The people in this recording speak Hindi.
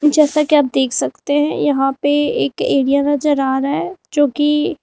जैसा कि आप देख सकते हैं यहां तक एक एरिया नजर रहा है जो कि--